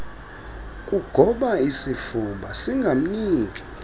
kugoba isifuba singamniki